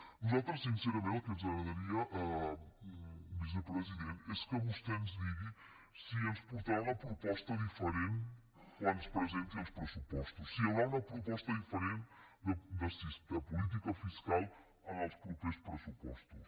a nosaltres sincerament el que ens agradaria vicepresident és que vostè ens digués si ens portarà una proposta diferent quan ens presenti els pressupostos si hi haurà una proposta diferent de política fiscal en els propers pressupostos